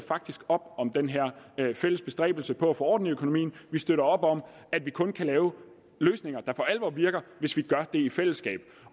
op om den her fælles bestræbelse på at få orden i økonomien vi støtter op om at vi kun kan lave løsninger der for alvor virker hvis vi gør det i fællesskab